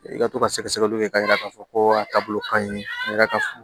I ka to ka sɛgɛsɛgɛliw kɛ k'a yira k'a fɔ ko a taabolo ka ɲi ne ka furu